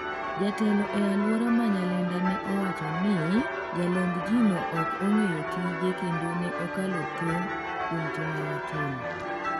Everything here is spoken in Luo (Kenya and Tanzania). Jatelo e alwora ma Nyalenda ne owacho ni jalomb ji no ok ong'eyo tije kendo ne okalo tong' kuom tim mane otimo.